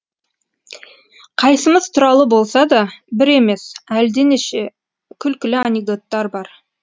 қайсымыз туралы болса да бір емес әлденеше күлкілі анекдоттар бар